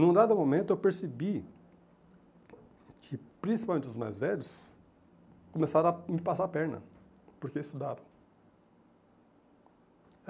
Num dado momento eu percebi que principalmente os mais velhos começaram a me passar a perna, porque estudaram.